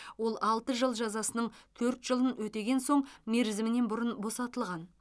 ол алты жыл жазасының төрт жылын өтеген соң мерзімінен бұрын босатылған